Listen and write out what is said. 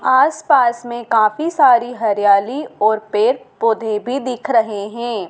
आस पास मे काफी सारी हरियाली और पेड़-पौधे भी दिख रहे हैं।